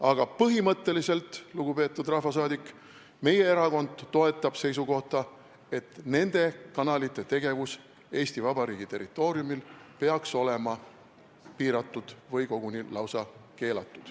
Aga põhimõtteliselt, lugupeetud rahvasaadik, meie erakond toetab seisukohta, et nende kanalite tegevus Eesti Vabariigi territooriumil peaks olema piiratud või koguni lausa keelatud.